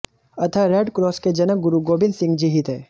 अतः रेडक्रॉस के जनक गुरु गोबिंद सिंह जी ही थे